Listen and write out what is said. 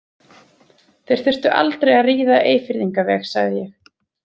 Þeir þurftu aldrei að ríða Eyfirðingaveg, sagði ég.